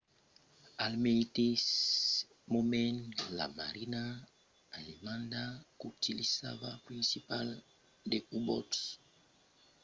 al meteis moment la marina alemanda qu'utilizava principalament de u-boats ensajava d’arrestar aquela circulacion